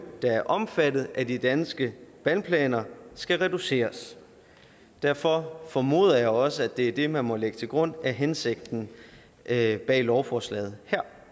der er omfattet af de danske vandplaner skal reduceres derfor formoder jeg også det er det man må lægge til grund er hensigten her bag lovforslaget